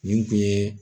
Nin kun ye